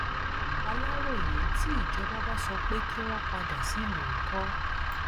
aláròyé tí ìjọba bá sọ pé kí wọn padà sílùú ńkọ